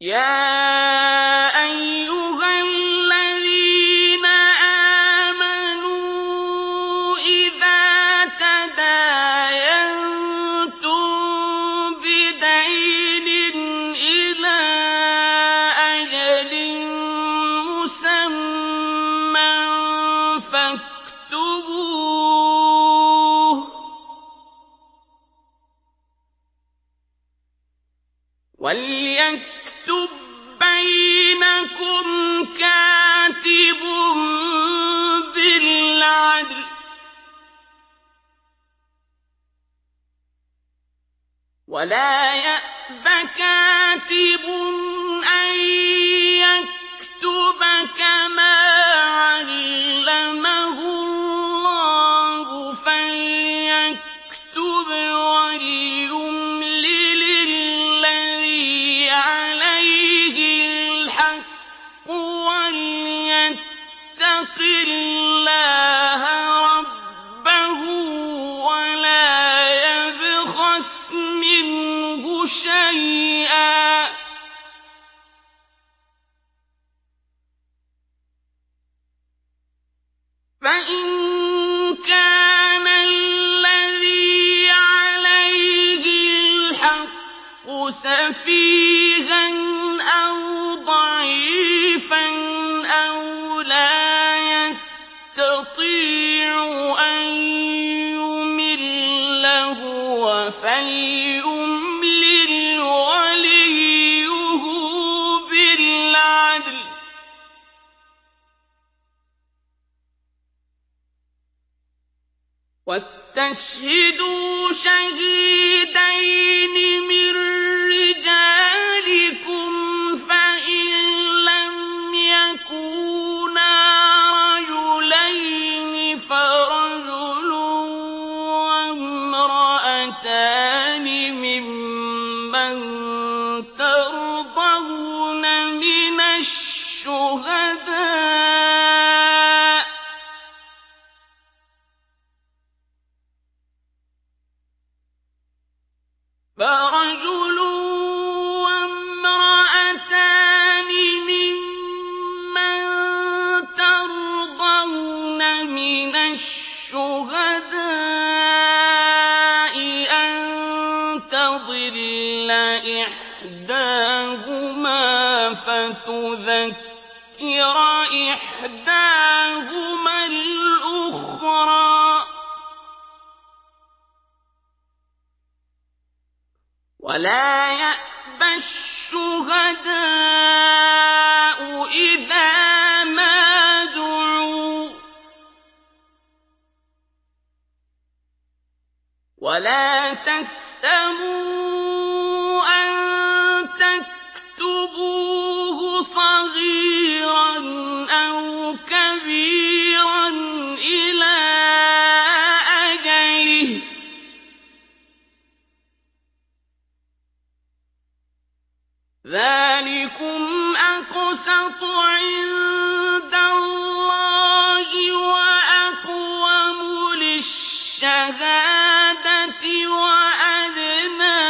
يَا أَيُّهَا الَّذِينَ آمَنُوا إِذَا تَدَايَنتُم بِدَيْنٍ إِلَىٰ أَجَلٍ مُّسَمًّى فَاكْتُبُوهُ ۚ وَلْيَكْتُب بَّيْنَكُمْ كَاتِبٌ بِالْعَدْلِ ۚ وَلَا يَأْبَ كَاتِبٌ أَن يَكْتُبَ كَمَا عَلَّمَهُ اللَّهُ ۚ فَلْيَكْتُبْ وَلْيُمْلِلِ الَّذِي عَلَيْهِ الْحَقُّ وَلْيَتَّقِ اللَّهَ رَبَّهُ وَلَا يَبْخَسْ مِنْهُ شَيْئًا ۚ فَإِن كَانَ الَّذِي عَلَيْهِ الْحَقُّ سَفِيهًا أَوْ ضَعِيفًا أَوْ لَا يَسْتَطِيعُ أَن يُمِلَّ هُوَ فَلْيُمْلِلْ وَلِيُّهُ بِالْعَدْلِ ۚ وَاسْتَشْهِدُوا شَهِيدَيْنِ مِن رِّجَالِكُمْ ۖ فَإِن لَّمْ يَكُونَا رَجُلَيْنِ فَرَجُلٌ وَامْرَأَتَانِ مِمَّن تَرْضَوْنَ مِنَ الشُّهَدَاءِ أَن تَضِلَّ إِحْدَاهُمَا فَتُذَكِّرَ إِحْدَاهُمَا الْأُخْرَىٰ ۚ وَلَا يَأْبَ الشُّهَدَاءُ إِذَا مَا دُعُوا ۚ وَلَا تَسْأَمُوا أَن تَكْتُبُوهُ صَغِيرًا أَوْ كَبِيرًا إِلَىٰ أَجَلِهِ ۚ ذَٰلِكُمْ أَقْسَطُ عِندَ اللَّهِ وَأَقْوَمُ لِلشَّهَادَةِ وَأَدْنَىٰ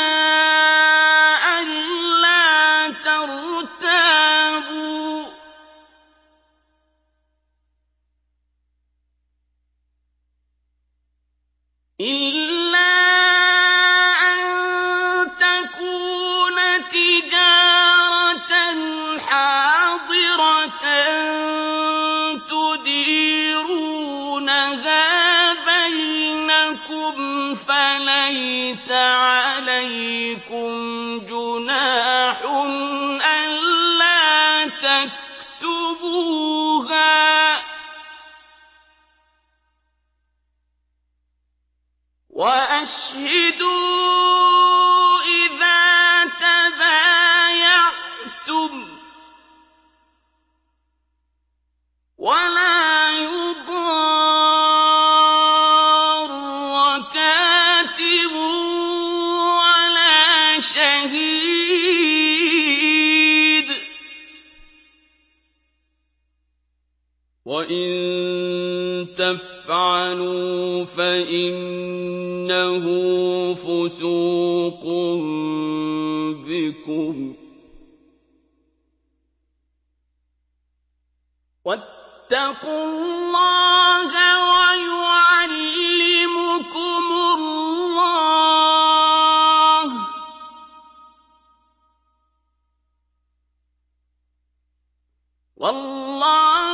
أَلَّا تَرْتَابُوا ۖ إِلَّا أَن تَكُونَ تِجَارَةً حَاضِرَةً تُدِيرُونَهَا بَيْنَكُمْ فَلَيْسَ عَلَيْكُمْ جُنَاحٌ أَلَّا تَكْتُبُوهَا ۗ وَأَشْهِدُوا إِذَا تَبَايَعْتُمْ ۚ وَلَا يُضَارَّ كَاتِبٌ وَلَا شَهِيدٌ ۚ وَإِن تَفْعَلُوا فَإِنَّهُ فُسُوقٌ بِكُمْ ۗ وَاتَّقُوا اللَّهَ ۖ وَيُعَلِّمُكُمُ اللَّهُ ۗ وَاللَّهُ بِكُلِّ شَيْءٍ عَلِيمٌ